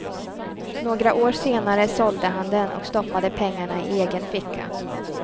Några år senare sålde han den och stoppade pengarna i egen ficka.